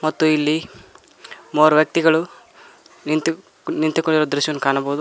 ಮತ್ತು ಇಲ್ಲಿ ಮೂವರು ವ್ಯಕ್ತಿಗಳು ನಿಂತು ನಿಂತುಕೊಂಡಿರುವ ದೃಶ್ಯವನ್ನು ಕಾಣಬಹುದು.